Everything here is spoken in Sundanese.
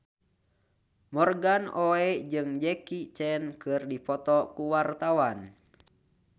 Morgan Oey jeung Jackie Chan keur dipoto ku wartawan